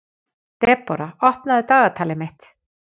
Debora, opnaðu dagatalið mitt.